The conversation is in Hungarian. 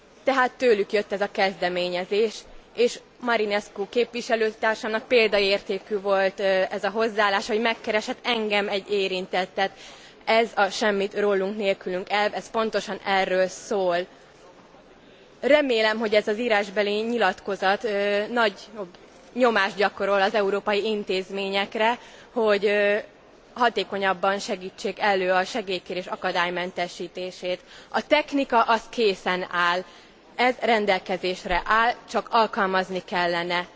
Tehát tőlük jött ez a kezdeményezés, és Marinescu képviselőtársamnak példaértékű volt a hozzáállása, hogy megkeresett engem, egy érintettet. Ez a semmit rólunk, nélkülünk elv, ez pontosan erről szól. Remélem, hogy ez az írásbeli nyilatkozat nagyobb nyomást gyakorol az európai intézményekre, hogy hatékonyabban segítsék elő a segélykérés akadálymentesítését. A technika készen áll. Ez rendelkezésre áll, csak alkalmazni kellene.